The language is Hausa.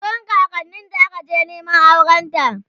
wurin kakanninta aka je Neman aurenta